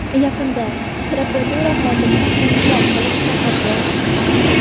Yaqinda prokuratura xodimi qo‘ng‘iroq qilib chaqirdi.